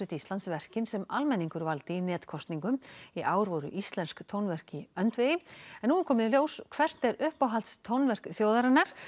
Íslands verkin sem almenningur valdi í netkosningu í ár voru íslensk tónverk í öndvegi nú er komið í ljós hvert er uppáhalds tónverk þjóðarinnar